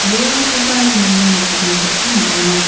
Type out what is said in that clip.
bolrangkoba iano nikatna gita man·enga.